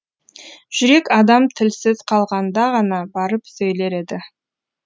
жүрек адам тілсіз қалғанда ғана барып сөйлер еді